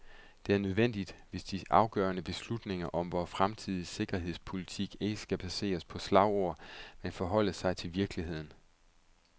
Det er nødvendigt, hvis de afgørende beslutninger om vor fremtidige sikkerhedspolitik ikke skal baseres på slagord, men forholde sig til virkeligheden.